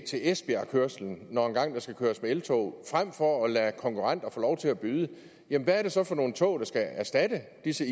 til esbjergkørslen når der engang skal køres med eltog frem for at lade konkurrenter få lov til at byde hvad er det så for nogle tog der skal erstatte disse